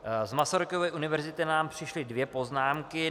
Z Masarykovy univerzity nám přišly dvě poznámky.